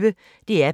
DR P1